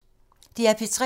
DR P3